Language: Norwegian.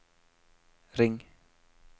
ring